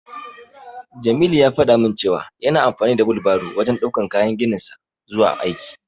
Jamilu ya faɗa min cewa yana amfani da wilbaro wajen ɗaukan kayan gininsa zuwa aiki.